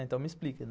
Então me explica.